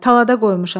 Talada qoymuşam.